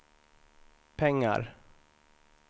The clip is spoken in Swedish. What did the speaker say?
pengar